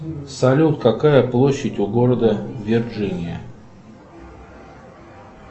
салют какая площадь у города вирджиния